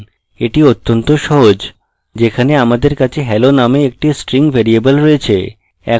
এটি অত্যন্ত সহজ যেখানে আমাদের কাছে hello নামে একটি string ভ্যারিয়েবল রয়েছে